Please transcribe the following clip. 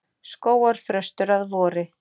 Skógarþröstur að vori.